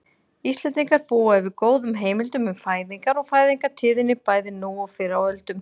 Íslendingar búa yfir góðum heimildum um fæðingar og fæðingartíðni bæði nú og fyrr á öldum.